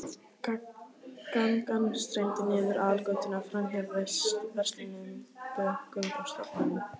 Gangan streymdi niður aðalgötuna, framhjá verslunum, bönkum og stofnunum.